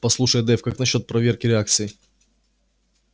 послушай дейв как насчёт проверки реакций